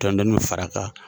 Dɔɔni dɔɔni bɛ far'a kan